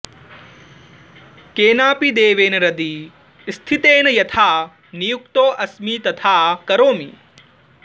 केनापि देवेन हृदि स्थितेन यथा नियुक्तोऽस्मि तथा करोमि